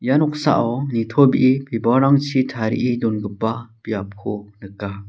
ia noksao nitobee bibalrangchi tarie dongipa biapko nika.